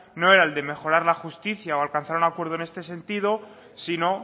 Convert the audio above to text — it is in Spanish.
no era el de mejorar la justicia o de alcanzar un acuerdo en este sentido sino